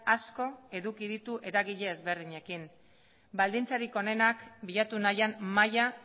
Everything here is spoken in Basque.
asko eduki ditu eragile desberdinekin baldintzarik onenak bilatu nahian mahaia